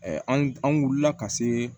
an wulila ka se